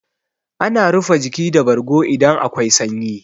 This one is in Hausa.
Ana rufe jiki da bargo idan akwai sanyi.